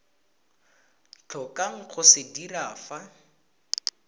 tlhokang go se dira fa